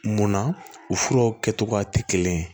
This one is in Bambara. Munna u furaw kɛcogoya tɛ kelen ye